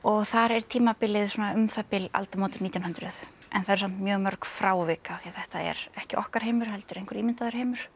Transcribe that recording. þar er tímabilið svona um það bil aldamótin nítján hundruð en það eru samt mjög mörg frávik af því þetta er ekki okkar heimur heldur einhver ímyndaður heimur